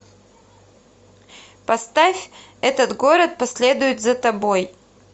поставь этот город последует за тобой